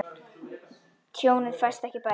Tjónið fæst ekki bætt.